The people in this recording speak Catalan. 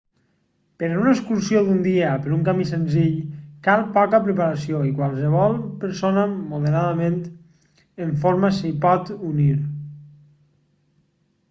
per a una excursió d'un dia per un camí senzill cal poca preparació i qualsevol persona moderadament en forma s'hi pot unir